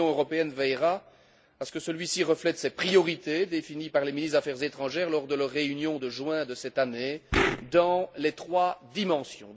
L'Union européenne veillera à ce que celui ci reflète ses priorités définies par les ministres des affaires étrangères lors de leur réunion de juin de cette année dans les trois dimensions.